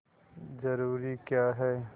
जरूरी क्या है